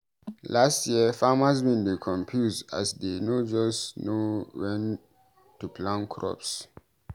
Last year, farmers bin dey confused as dey no just know wen to plant crops.